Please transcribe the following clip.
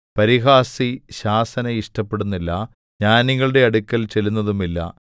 പരിഹാസി ശാസന ഇഷ്ടപ്പെടുന്നില്ല ജ്ഞാനികളുടെ അടുക്കൽ ചെല്ലുന്നതുമില്ല